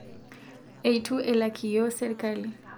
Eitu elak iyio serikali